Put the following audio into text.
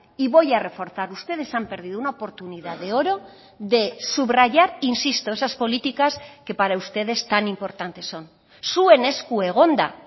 y voy a reforzar ustedes han perdido una oportunidad de oro de subrayar insisto esas políticas que para ustedes tan importantes son zuen esku egon da